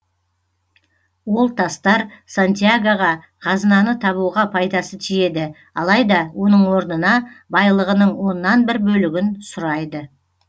ол тастар сантьягоға қазынаны табуға пайдасы тиеді алайда оның орнына байлығының оннан бір бөлігін сұрайды